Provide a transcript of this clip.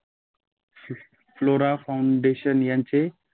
flora foundation यांचे